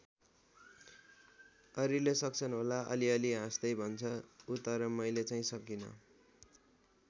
अरूले सक्छन् होला अलिअलि हाँस्दै भन्छ ऊ तर मैले चाहिँ सकिँन।